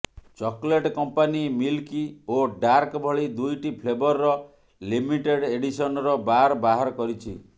chocolate company milk ଓ dark ଭଳି ଦୁଇଟି ଫ୍ଲେଭରର ଲିମିଟେଡ୍ ଏଡିସନର ବାର୍ ବାହାର କରିଛି